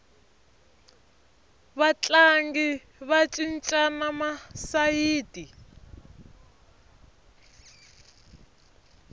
vatlangi va cincana masayiti